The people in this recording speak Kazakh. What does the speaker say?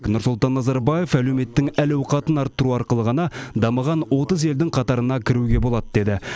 нұрсұлтан назарбаев әлеуметтің әл ауқатын арттыру арқылы ғана дамыған отыз елдің қатарына кіруге болады деді